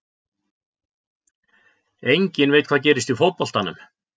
Enginn veit hvað gerist í fótboltanum.